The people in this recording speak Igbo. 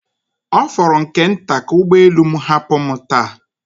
Ọ fọrọ nke nta ka ụgbọ elu m hapụ m taa